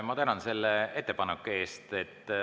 Ma tänan selle ettepaneku eest.